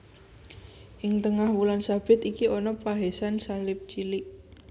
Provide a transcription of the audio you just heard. Ing tengah wulan sabit iki ana pahésan salib cilik